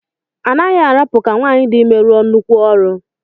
A naghị arapụ ka nwaanyị dị ime rụọ nnukwu ọrụ.